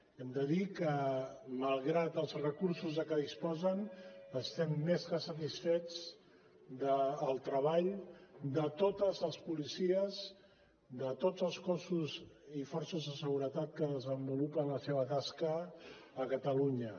hem de dir que malgrat els recursos de què disposen estem més que satisfets del treball de totes les policies de tots els cossos i forces de seguretat que desenvolupen la seva tasca a catalunya